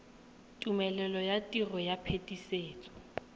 tumelelo ya tiro ya phetisetso